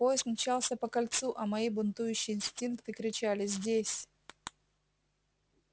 поезд мчался по кольцу а мои бунтующие инстинкты кричали здесь